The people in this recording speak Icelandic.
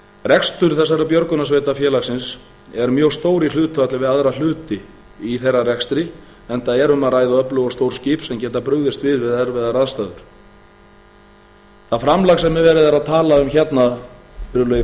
rekstur þessara björgunarsveita félagsins er mjög stór í hlutfalli við aðra hluti í þeirra rekstri enda er um að ræða öflug og stór skip sem geta brugðist við við erfiðar aðstæður það framlag sem verið er að tala um hérna virðulegi